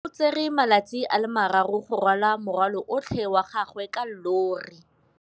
O tsere malatsi a le marraro go rwala morwalo otlhe wa gagwe ka llori.